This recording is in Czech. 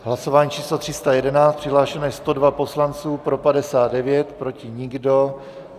Hlasování číslo 311, přihlášeno je 102 poslanců, pro 59, proti nikdo.